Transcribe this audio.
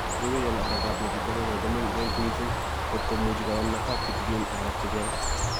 Yeiwe, ial arekab betut agenge ko mengech miising kot komuchi koyam nafas kitigin areek che chang